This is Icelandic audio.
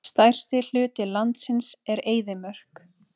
Stærsti hluti landsins er eyðimörk.